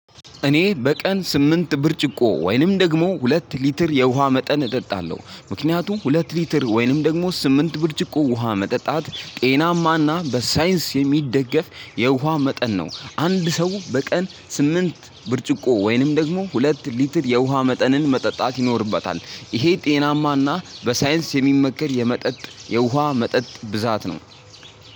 እኔ በቀን ስምንት ብርጭቆ ወይንም ደግሞ ሁለት ሊትር የውሃ መጠን እጠጣለሁ። ምክንያቱም ሁለት ሊትር ወይንም ደግሞ ስምንት ብርጭቆ ውሃ መጠጣት ጤናማና በሳይንስ የሚደገፍ የውሃ መጠን ነው። አንድ ሰው በቀን ስምንት ብርጭቆ ወይንም ደግሞ ሁለት ሊትር የውሃ መጠንን መጠጣት ይኖርበታል። ይሄ ጤናማና በሳይንስ የሚመከር የመጠጥ የውሃ መጠጥ ብዛት ነው።